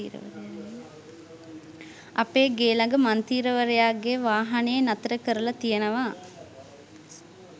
අපේ ගේ ළඟ මන්තී්‍රවරයාගේ වාහනය නතර කරලා තියනවා.